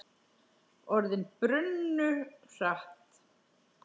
Orðin brunnu hratt.